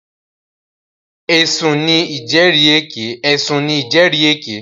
Ẹ̀sùn ní ìjẹ́rìèké.